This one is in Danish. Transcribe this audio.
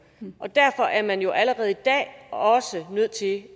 derfor er man jo allerede i dag også nødt til